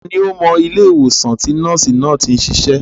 Ta ni ó mọ ilé ìwòsàn tí nọ́ọ̀sì náà tí ń sisẹ́?